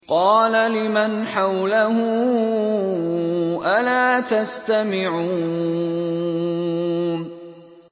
قَالَ لِمَنْ حَوْلَهُ أَلَا تَسْتَمِعُونَ